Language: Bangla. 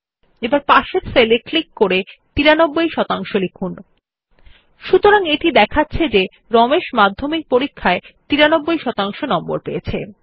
এখন পার্শ্ববর্তী সেল এ ক্লিক করে ৯৩ শতাংশ লিখুন সুতরাং এটি দেখাচ্ছে যে রমেশ মাধ্যমিক পরীক্ষায় 93 শতাংশ নম্বর পেয়েছে